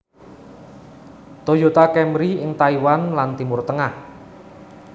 Toyota Camry ing Taiwan lan Timur Tengah